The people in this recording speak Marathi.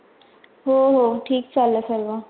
हो हो, ठीक चाललंय सर्वा.